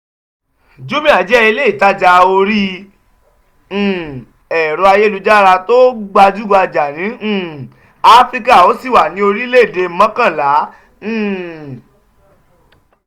jumia jẹ́ ilé-ìtajà orí um ẹ̀rọ-ayélujára tó gbajúgbajà ní um áfíríkà ó sì wà ní orílẹ̀-èdè mọ́kànlá. um